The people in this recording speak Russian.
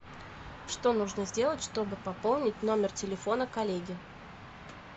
что нужно сделать чтобы пополнить номер телефона коллеги